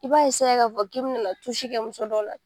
I b'a k'a fɔ k'i bi n'i la kɛ muso dɔw la